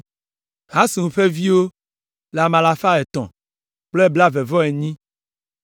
Hasum ƒe viwo le ame alafa etɔ̃ kple blaeve-vɔ-enyi (328).